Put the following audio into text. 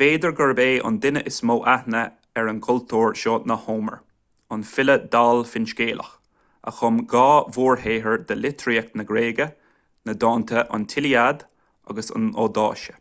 b'fhéidir gurb é an duine is mó aithne ar an gcultúr seo ná homer an file dall finscéalach a chum dhá mhórshaothar de litríocht na gréige na dánta an tíliad agus an odaisé